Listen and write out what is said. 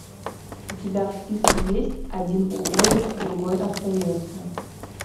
у тебя в списке есть один уходит другой остается